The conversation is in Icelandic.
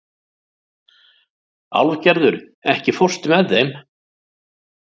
Álfgerður, ekki fórstu með þeim?